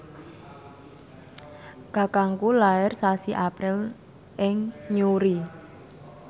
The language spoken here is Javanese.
kakangku lair sasi April ing Newry